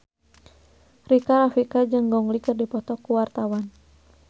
Rika Rafika jeung Gong Li keur dipoto ku wartawan